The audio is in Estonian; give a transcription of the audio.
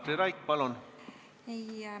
Katri Raik, palun!